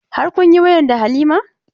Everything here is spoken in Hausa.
Har kun yi wayan da Halima?